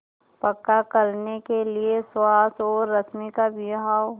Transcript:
पक्का करने के लिए सुहास और रश्मि का विवाह